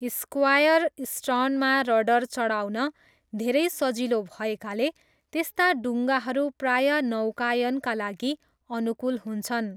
Square स्टर्नमा rudder चढाउन धेरै सजिलो भएकाले, त्यस्ता डुङ्गाहरू प्राय नौकायनका लागि अनुकूल हुन्छन्।